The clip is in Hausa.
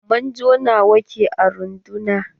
Manjo nawa ke a rundunar?